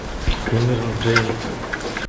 кэмерон джеймс